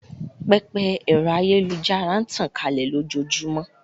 Pẹpẹ ẹ̀rọ ayélujára n tàn kálẹ̀ lójóojúmọ́